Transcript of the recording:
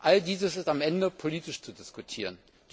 All dies ist am Ende politisch zu diskutieren.